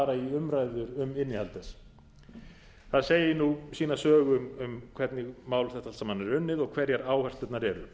til þess að fara í umræðu um innihald þess það segir nú sína sögu um hvernig mál þetta allt saman er unnið og hverjar áherslurnar eru